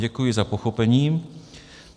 Děkuji za pochopení.